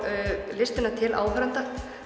listina til áhorfenda